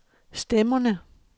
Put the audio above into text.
stemmerne